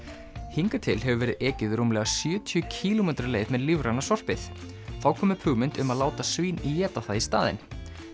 hingað til hefur verið ekið rúmlega sjötíu kílómetra leið með lífræna sorpið þá kom upp hugmynd um að láta svín éta það í staðinn